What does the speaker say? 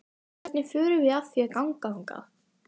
Hvernig förum við að því að ganga þangað?